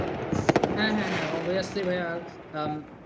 হ্যাঁ হ্যাঁ হ্যাঁ obviously ভাইয়া।